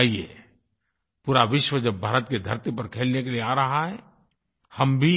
आइये पूरा विश्व जब भारत की धरती पर खेलने के लिए आ रहा है हम भी